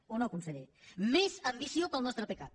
o no conseller més ambició per al nostre pecac